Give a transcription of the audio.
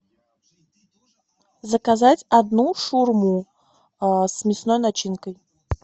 заказать одну шаурму с мясной начинкой